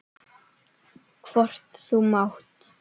Hvort þú mátt!